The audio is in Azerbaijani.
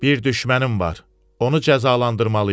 Bir düşmənim var, onu cəzalandırmalıyam.